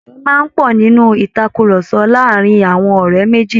Ẹ̀fẹ̀ máa ń pọ̀ nínú ìtàkurọ̀sọ láàárin àwọn ọ̀rẹ́ méjì